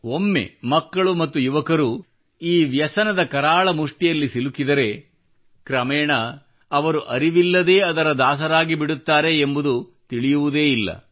ಒಮ್ಮೆ ಮಕ್ಕಳು ಮತ್ತು ಯುವಕರು ಈ ವ್ಯಸನದ ಕರಾಳ ಮುಷ್ಟಿಯಲ್ಲಿ ಸಿಲುಕಿದರೆ ಕ್ರಮೇಣ ಅವರು ಅರಿವಿಲ್ಲದೇ ಅದರ ದಾಸರಾಗಿಬಿಡುತ್ತಾರೆ ಎಂಬುದು ತಿಳಿಯುವುದೇ ಇಲ್ಲ